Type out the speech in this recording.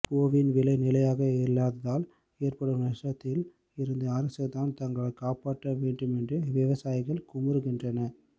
பூவின் விலை நிலையாக இல்லாததால் ஏற்படும் நஷ்டத்தில் இருந்து அரசுதான் தங்களை காப்பாற்ற வேண்டுமென்று விவசாயிகள் குமுறுகின்றனர்